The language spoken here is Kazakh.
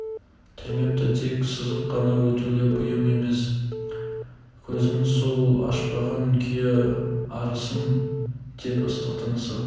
тілмепті тек сызып қана өтулі бұйым емес көзін сол ашпаған күйі арысым деп ыстық тынысы